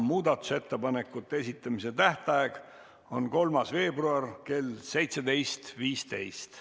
Muudatusettepanekute esitamise tähtaeg on 3. veebruar kell 17.15.